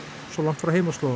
svo langt frá